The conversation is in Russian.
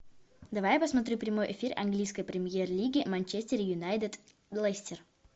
давай я посмотрю прямой эфир английской премьер лиги манчестер юнайтед лестер